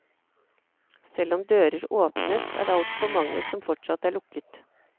Selv om dører åpnes, er det altfor mange som fortsatt er lukket.